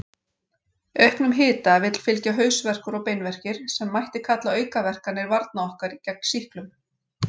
Auknum hita vill fylgja hausverkur og beinverkir, sem mætti kalla aukaverkanir varna okkar gegn sýklum.